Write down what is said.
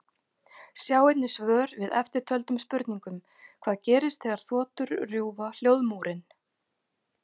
Sjá einnig svör við eftirtöldum spurningum: Hvað gerist þegar þotur rjúfa hljóðmúrinn?